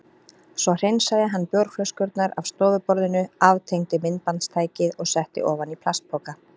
Svo hreinsaði hann bjórflöskurnar af stofuborðinu, aftengdi myndbandstækið og setti ofan í plastpoka.